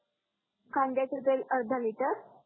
कांद्याच तेल एक अर्धा लीटर